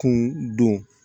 Kun don